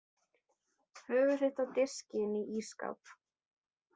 Höfuð þitt á diski inni í ísskáp!